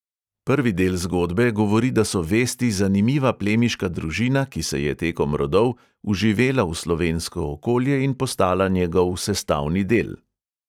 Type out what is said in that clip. Prvi del zgodbe govori, da so vesti zanimiva plemiška družina, ki se je tekom rodov vživela v slovensko okolje in postala njegov sestavni del.